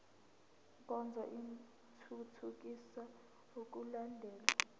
nkonzo ithuthukisa ukulandelwa